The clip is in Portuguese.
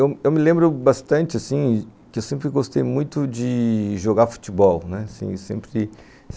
Eu eu eu me lembro bastante, assim, que eu sempre gostei muito de... jogar futebol, né, assim, sempre...